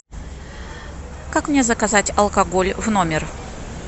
как мне заказать алкоголь в номер